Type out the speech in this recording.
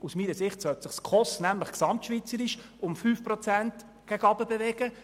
Aus meiner Sicht sollte sich die SKOS nämlich gesamtschweizerisch um 5 Prozent gegen unten bewegen.